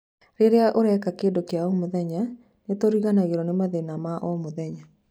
Rĩrĩa ũreka kĩndũ gĩa gũkenia, nĩ tũriganĩrũo nĩ mathĩna ma o mũthenya.